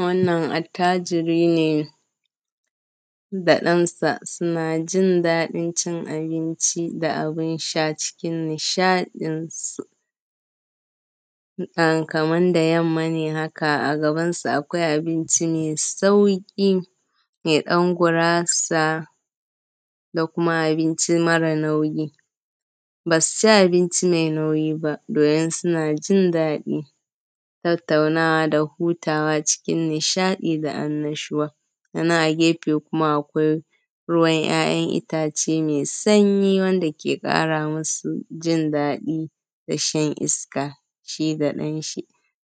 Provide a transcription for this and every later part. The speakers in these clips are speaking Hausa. Wannan atajiri ne da ɗansa suna jin daɗin cin abinci da abin sha cikin nishaɗin su. Kaman da yamma ne haka a gabansu akwai abinci mai sauƙi, da ɗan gurasa da kuma abinci mare nauyi. Basu ci abinci mai nauyi ba domin suna jin daɗin tattaunawa da hutawa cikin nishaɗi da annashuwa. Sannan a gefe kuma akwai ruwan ‘ya’yan itace mai sanyi wanda ke ƙara musu jin daɗi da shan iska shi da ɗan shi.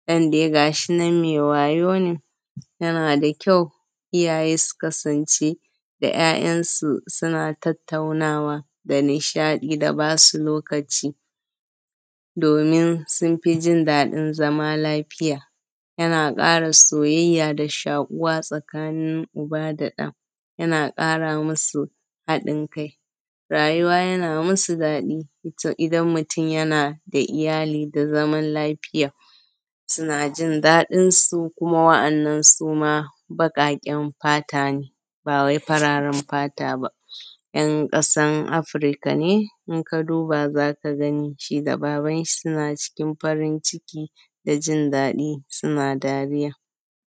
ɗan dai gashi nan me wayau ne yana da kyau iyaye su kasance da ‘ya’yansu suna tattaunawa da nishaɗi, da basu lokaci domin sun fi jin daɗin zama lafiya, yana ƙara soyayya da shaƙuwa tsakanin uba da ɗa, yana ƙara musu haɗin kai, rayuwa yana musu daɗi, to idan mutum yana da iyali da zaman lafiya, suna jin daɗin su, kuma wa’annan suma baƙaƙen fata ne ba wai fararen fata bane. ‘Yan ƙasan Afrika ne in ka duba zaka gani shi da babanshi suna cikin farin ciki da jin daɗi suna dariya.